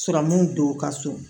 Siran min do u ka so